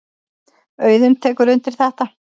Auðunn tekur undir þetta.